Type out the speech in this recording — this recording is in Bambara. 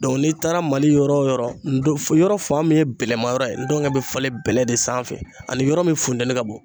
n'i taara MALI yɔrɔ wo yɔrɔ yɔrɔ fan min ye bɛlɛma yɔrɔ ye n dɔgɔnin bɛ falen bɛlɛ de sanfɛ ani yɔrɔ min funtɛni ka bon.